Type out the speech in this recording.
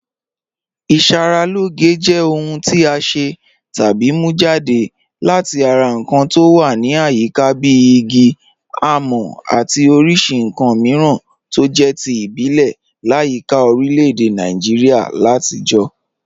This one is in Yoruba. Ìṣàralọ́gẹ̀ jẹ́ ọ̀hùn tí a ṣẹ́ tàbí mú jadẹ̀ láti ara nkàn tó wà ní àyíká bí ìgí, àmọ̀ àti oríṣì nkàn míràn tó jẹ̀ tí ìbílẹ̀ làyíkà orílẹ̀-èdè Nàìjíríà làtijọ̀.